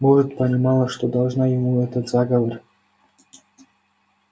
может понимала что должна ему этот заговор